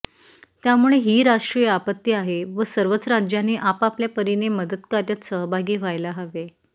त्यामुळे ही राष्ट्रीय आपत्ती आहे व सर्वच राज्यांनी आपापल्या परीने मदतकार्यात सहभागी व्हायला हवे